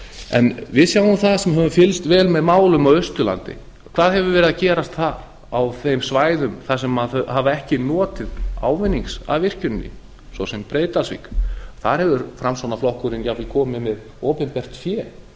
en við sjáum það sem höfum fylgst vel með málum á austurlandi hvað hefur verið að gerast þar á þeim svæðum sem hafa ekki notið ávinning af virkjuninni svo sem breiðdalsvík þar hefur framsóknarflokkurinn jafnvel komið með opinbert fé